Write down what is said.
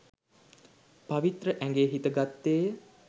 පවිත්‍ර ඇගේ හිත ගත්තේය